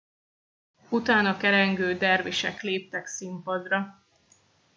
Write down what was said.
utána kerengő dervisek léptek színpadra